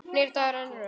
Nýr dagur rennur upp.